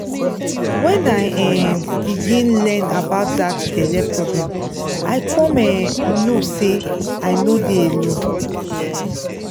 when i um begin learn about that belle problem i come um know say i no dey alone